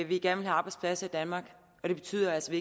vil have arbejdspladser i danmark og det betyder altså